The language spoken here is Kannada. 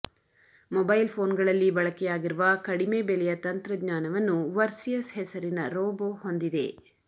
ಮೊಬೈಲ್ ಫೋನ್ಗಳಲ್ಲಿ ಬಳಕೆಯಾಗಿರುವ ಕಡಿಮೆ ಬೆಲೆಯ ತಂತ್ರಜ್ಞಾನವನ್ನು ವರ್ಸಿಯಸ್ ಹೆಸರಿನ ರೋಬೊ ಹೊಂದಿದೆ